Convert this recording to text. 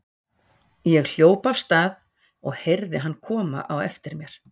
Ég hljóp af stað og heyrði hann koma á eftir mér.